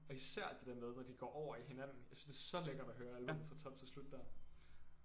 Og især det der med når de går over i hinanden jeg synes det er så lækkert at høre albummet fra top til slut der